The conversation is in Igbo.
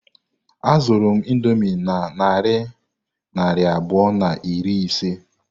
Azụru m indomie na narị naira abụọ na iri ise.